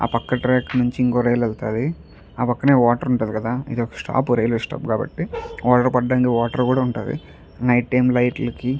ఆ పక్క ట్రాక్ నుంచి ఇంకో రైలు వెళ్తది. ఆ పక్కనే వాటర్ ఉంటది కదా ఇది ఒక స్టాప్ రైల్వే స్టాప్ కాబట్టి వాటర్ పడడానికి వాటర్ కూడా ఉంటది. నైట్ టైం లైట్ లకి--